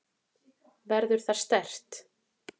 Verður það sterkt?